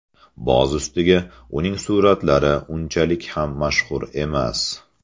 Boz ustiga, uning suratlari unchalik ham mashhur emas.